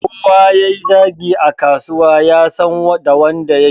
Kowa yayi zagi a kasuwa yasan da wanda yake.